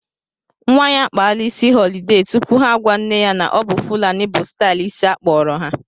Nwa ya akpara isi họlide tupu ha agwa nne ya na-ọbụ fulani bụ stailu isi akpọrọ ha